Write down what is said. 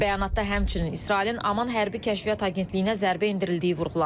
Bəyanatda həmçinin İsrailin Aman hərbi Kəşfiyyat Agentliyinə zərbə endirildiyi vurğulanıb.